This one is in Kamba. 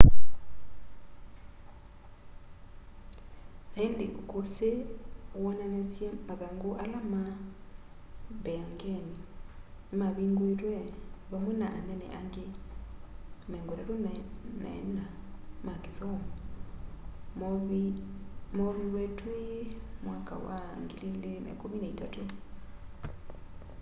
na indi ukusi woonanasye mathangu ala ma mbeangeni nimavinguitwe vamwe na anene angi 34 ma kisomo mooviwe twi 2013